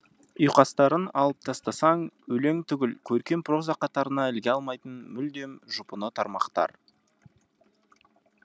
ұйқастарын алып тастасаң өлең түгіл көркем проза қатарына іліге алмайтын мүлдем жұпыны тармақтар